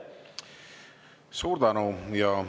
Suur tänu!